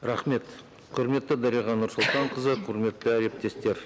рахмет құрметті дариға нұрсұлтанқызы құрметті әріптестер